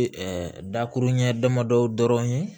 dakuru ɲɛ damadɔ dɔrɔn ye